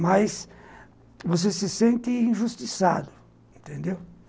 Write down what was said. Mas você se sente injustiçado, entendeu?